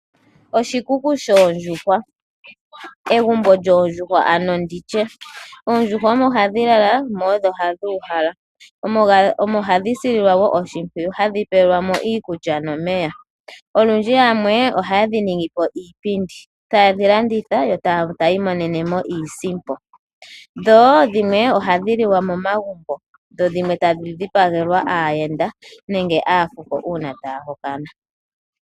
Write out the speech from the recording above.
Oshikuku shoondjuhwa nenge egumbo lyoondjuhwa. Mehala muka ohamu kala oondjuhwa nokuuhalwa. Ohadhi sililwamo wo oshimpwiyu moka hadhi pelwamo iikulya oshowoo omeya gayela. Olundji yamwe ohaye dhi ningipo iipindi, tayedhi landitha, yotayi imonenemo iisimpo. Dhimwe ohadhi liwa momagumbo, dhimwe tadhi dhipagelwa aayenda nenge poohango.